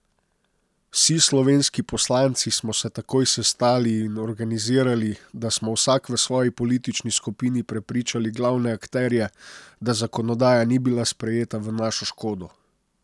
Vsi slovenski poslanci smo se takoj sestali in organizirali, da smo vsak v svoji politični skupini prepričali glavne akterje, da zakonodaja ni bila sprejeta v našo škodo.